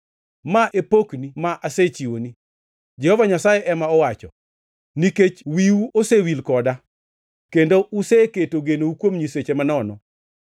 Ma e pokni ma asechiwoni,” Jehova Nyasaye ema owacho, “nikech wiu osewil koda kendo useketo genou kuom nyiseche manono.